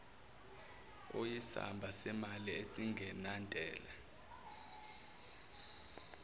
oyisamba semali esingenantela